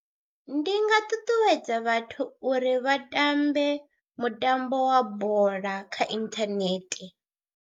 Ndi nga ṱuṱuwedza vhathu uri vha tambe mutambo wa bola kha inthanethe.